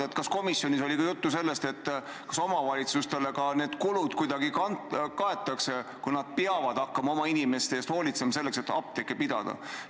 Aga kas komisjonis oli juttu ka sellest, kas omavalitsustele need kulud kuidagi kaetakse, kui nad peavad hakkama oma inimeste eest hoolitsemiseks apteeke pidama?